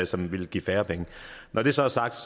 som ville give færre penge når det så er sagt